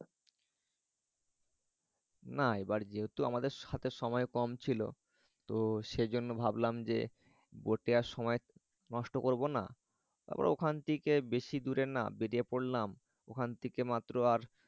না এবারে যেহেতু আমাদের হাতে সময় কম ছিল তো সেজন্য ভাবলাম যে boat এ আর সময় নষ্ট করব না আবার ওখান থেকে বেশি দূরে না। বেড়িয়ে পরলাম ওখান থেকে মাত্র আর